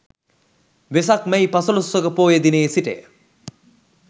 වෙසක් මැයි පසළොස්වක පෝය දිනයේ සිට ය.